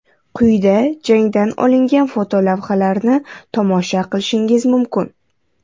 Quyida jangdan olingan fotolavhalarni tomosha qilishingiz mumkin.